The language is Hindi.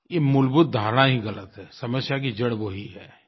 ये मूलभूत धारणा ही ग़लत है समस्या की जड़ वो ही है